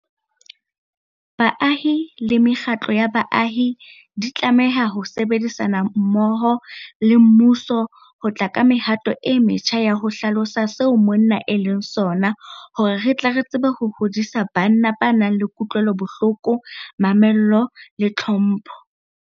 Baahi le mekgatlo ya baahi e tlameha ho sebedisana mmoho le mmuso ho tla ka mehato e metjha ya ho hlalosa seo monna e leng sona hore re tle re tsebe ho hodisa banna ba nang le kutlwelobohloko, mamello le tlhompho.